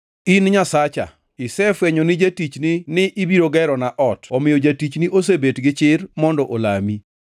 “In, Nyasacha isefwenyo ni jatichni ni ibiro gerona ot omiyo jatichni osebet gi chir mondo olami.